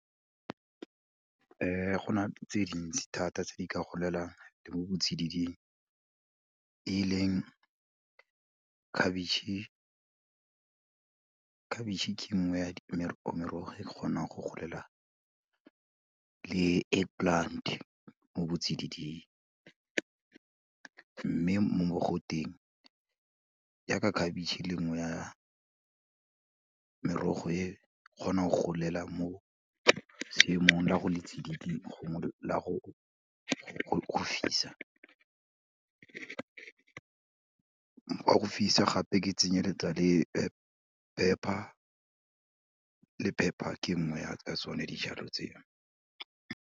Go na le tse dintsi thata tse di ka golelang le mo botsididing, e leng khabitšhe, khabitšhe ke nngwe ya merogo e kgonang go golela le egg plant, mo botsididing mme mo mogoteng yaka khabitšhe e leng nngwe ya merogo e kgonang go golela mo seemong la go le tsididi la go fisa, ga go fisa gape ke tsenyeletsa le pepper, le pepper ke nngwe ya tsone dijalo tseo.